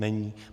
Není.